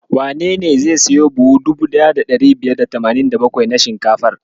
Wanene zai siyo buhu 1587 na shinkafar?